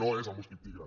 no és el mosquit tigre